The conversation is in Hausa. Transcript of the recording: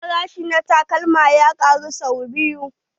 Farashi na takalmin ya ƙaru sai biyu.